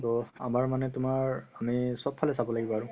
so আমাৰ মানে তুমাৰ আমি চব ফালে চাব লাগিব আৰু